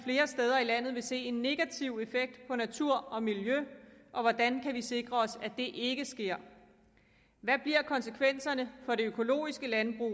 steder i landet vil se en negativ effekt på natur og miljø og hvordan kan vi så sikre os at det ikke sker hvad bliver konsekvenserne for det økologiske landbrug